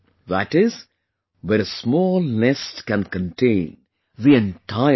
That is, where a small nest can contain the entire world